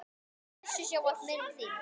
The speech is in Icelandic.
Blessuð sé ávallt minning þín.